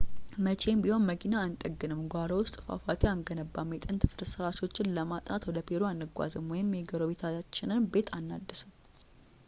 መቼም ቢሆን መኪና አንጠግንም ጓሮ ውስጥ ፏፏቴ አንገነባም የጥንት ፍርስራሾችን ለማጥናት ወደ ፔሩ አንጓዝም ወይም የጎረቤቶቻችንን ቤት አናድስም